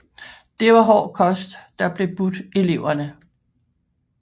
Det var hård kost der blev budt eleverne